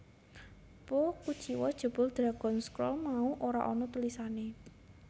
Po kuciwa jebul Dragon Scroll mau ora ana tulisané